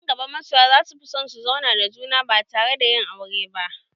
A nan gaba masoya za su fi son su zauna da juna ba tare da yin aure ba